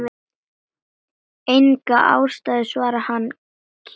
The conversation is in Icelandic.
Enga ástæðu svarar hann kíminn.